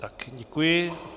Tak, děkuji.